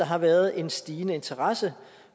har været en stigende interesse